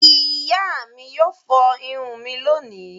Ìyá mi yóò fọ irun mi lónìí.